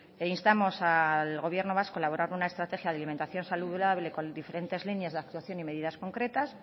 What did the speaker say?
e instamos al gobierno vasco a elaborar una estrategia de alimentación saludable con diferentes líneas de actuación y medidas concretas